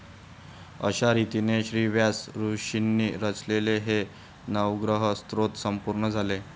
अशारितीने श्रीव्यास ऋषिंनी रचलेले हे नवग्रह स्तोत्र संपूर्ण झाले.